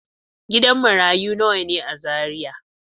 Gidan marayu nawa ne a Zariya?